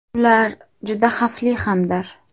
Ular juda xavfli hamdir.